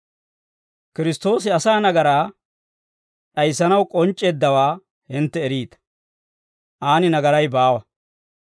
Kiristtoosi asaa nagaraa d'ayissanaw k'onc'c'eeddawaa hintte eriita; aan nagaray baawa.